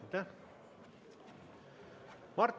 Aitäh!